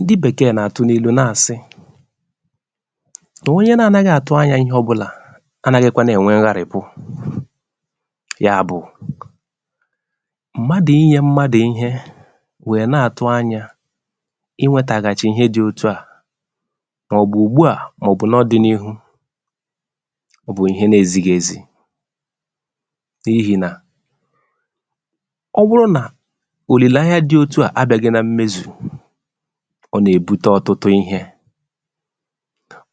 ndị Bẹ̀kẹẹ nà àtụ n’ịlụ nà àsị, nà onye na anaghị àtụ anyā ịhẹ ọbụlà anaghịkwanụ ẹ̀nwẹ ngharị̀pụ. yà bụ, mmadù ịnyẹ̄ mmadù ịhẹ wẹ̀ nà àtụ anyā ịwẹtaghàchị̀ ịhẹ dị òtù ahụ̀, mà ọ̀ bụ̀ ùgbu à, mà ọ̀ bụ n’ọdịnịhu. ọ bụ̀ ịhẹ na ezighi ezi, n’ihì nà ọ bụrụ nà òlìlèanya dị otua abịaghị na mmezù, ọ nà èbute ọtụtụ ịhẹ̄.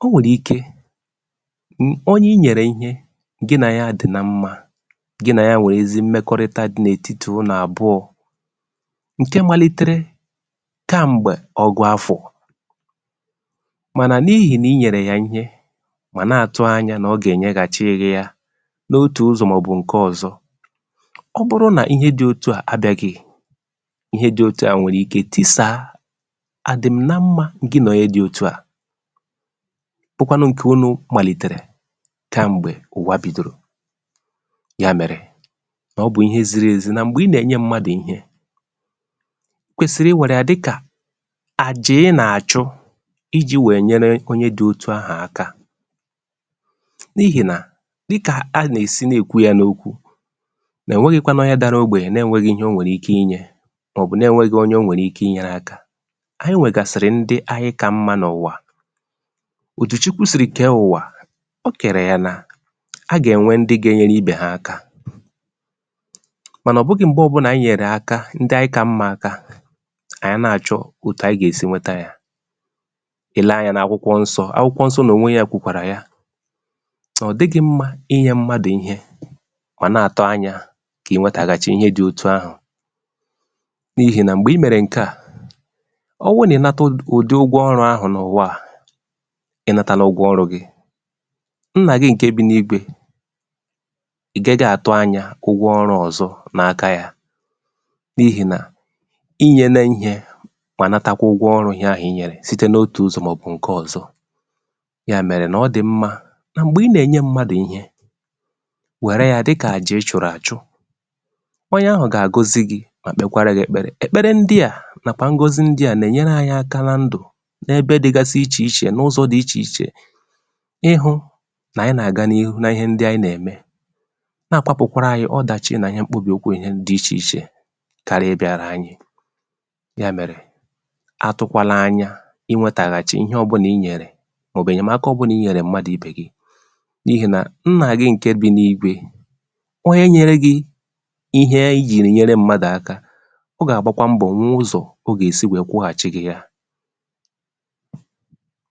ọ nwẹ̀rẹ̀ ike, onye ị nyẹ̀rè ịhẹ, gị nà ya adị na mmā, gị nà ya nwẹ̀ ezi mmẹkọrịta n’ètitì unù àbụọ, ǹkẹ malitere kẹ̀m̀gbẹ̀ ọgụ afọ̀, mànà n’ịhị̀ nà ị nyẹ̀rẹ̀ ya ịhẹ, ọ̀ nà àtụ anyā nà ọ gà ẹ̀nyẹghàchị gị ya, n’otù ụzọ̀ mà ọ̀ bụ̀ ǹkẹ ọzọ. ọ bụrụ nà ịhẹ dị otuà nà ẹ̀mẹ gị, ịhẹ dị otu à nwẹ̀rẹ̀ ike tisàa àdịm̀ nammā gị nà onye dị otu à, bụkwanụ ǹkè unū màlitere kẹm̀gbè ụ̀wa bìdòrò. yà mẹ̀rẹ̀, ọ bụ̀ ihe ziri ezi nà m̀gbè ị nà ènyẹ mmmadù ịhẹ, ị kwèsìrì ị wẹ̀ yà dị kà àjà ị nà àchụ, ijī wẹ nyẹrẹ onye dị otu ahụ̀ aka, n’ihid nà, dị kà a nà èʃi nà èkwu yā n’okwu, nà ẹ̀nwẹghịkwanụ onye dara ogbènyè na ẹnwẹghị ịhẹ ọ nwẹ̀rẹ̀ ike ịnyẹ̄, mà ọ̀ bụ na ẹnwẹghị onye ọ nwẹ̀rẹ̀ ike ị nyẹrẹ aka. ẹ nwẹ̀gàsị̀rị̀ ndị anyị kà mmā n’ụ̀wà. òtù Chukwu sìrì kẹ ụ̀wà, o kèrè yà nà a gà ẹ̀nwẹ ndị ga ẹnyẹrẹ ịbẹ̀ ha aka. mànà ọ̀ bụghị m̀gbẹ̀ anyị nyẹ̀rẹ̀ aka, ndị anyị kà mmā aka, kà anyị nà àchọ̀ òtù anyị gà è si nwẹtẹ ya. ị lẹ anyā n’akwụkwọ nsọ̄, akwụkwọ nsọ̄ n’ònwe ya kwùkwàrà ya, nà ọ̀ dịghị mmā ịnyẹ mmadù ịhẹ, ọ̀ nà àtụ anyā kà ị wẹtẹ̀ghàchị ịhẹ dị otu ahụ̀, n’ihì nà m̀gbè ị mẹ̀rẹ̀ ǹkẹ à, ọ bụ nà ị nwẹtẹghị ụ̀dị ụgwọ ọrụ̄ ahụ̀ n’ụ̀wa à, nna gị ǹkè bị n’eluigwē, ị̀ gaghị àtụ̀ anyā ụgwọ ọlụ̄ ọzọ n’aka ya, n’ihì nà ị nyele ihē, mà natakwa ụgwọ ọrụ gị, site n’otù ụzọ̀ mà ọ̀ ǹkẹ ọzọ. yà mẹ̀rẹ̀ nà ọ dị̀ mmā, nà m̀gbè ị nà ènye mmadù ịhẹ, wẹ̀rẹ ya dị kà àjà ị chụ̀rụ̀ àchụ. onye ahụ̀ gà àgọzị gị, mà kpẹkwara gị èkpẹrẹ̀. èkpẹrẹ̀ ndịà nà ngọzi ndịà nà ẹ̀nyẹrẹ anyị aka nan dụ̀, nae ̣bẹ dịgasị ichè ichè, n’ụzọ̄ dị ichè ichè, ị hụ̄ nà anyị nà àga n’ihu na ihe ndị anyị nà ẹ̀mẹ, nà àkpọpụ̀kwara anyị ọdàchi nà ihe gbugekwa anyị dị ichè ichè kara ị bịara anyị. yà mẹ̀rẹ̀, atụ̄kwala any aị wẹtàghàchị̀ ịhẹ ọbụlà ị nyẹ̀rè, mà ọ̀ bụ̀ ẹ̀nyẹmaka ọbụlà ị nyẹ̀rẹ̀ mmadù ibè gi, n’ihì nà, nnà gị ǹkẹ bị n’eluigwē, onye nyere gị ịhẹ e jì ẹ̀nyẹrẹ mmadù aka, ọ gà àgbakwa mbọ̀, hụ ụzọ̀ ọ gà èsi kwụghàchị gị ya.